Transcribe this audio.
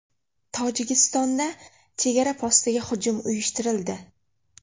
Tojikistonda chegara postiga hujum uyushtirildi.